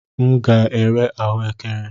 M ga-ere ahụekere.